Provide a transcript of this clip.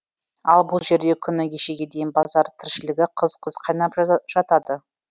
ал бұл жерде күні кешеге дейін базар тіршілігі қыз қыз қайнап жататын